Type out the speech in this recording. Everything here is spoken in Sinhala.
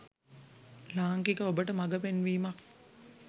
ලාංකික ඔබට මගපෙන්වීමක්.